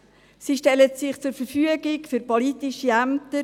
Sie stellen sich für politische Ämter zur Verfügung.